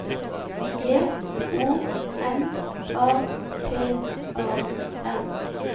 J O N A T A N